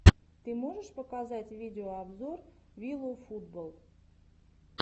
ты можешь показать видеообзор виловфутболл